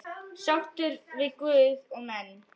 Sáttur við guð og menn.